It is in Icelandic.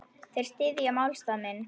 Þeir styðja málstað minn.